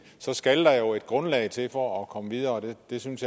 så skal der jo et grundlag til for at komme videre jeg synes